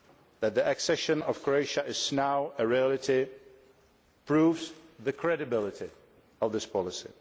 That the accession of Croatia is now a reality proves the credibility of this policy.